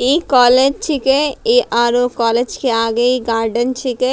ई college छीके ई आरो कॉलेज के आगे ई गार्डन छीके